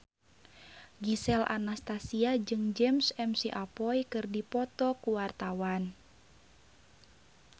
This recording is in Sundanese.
Gisel Anastasia jeung James McAvoy keur dipoto ku wartawan